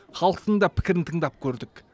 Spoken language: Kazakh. халықтың да пікірін тыңдап көрдік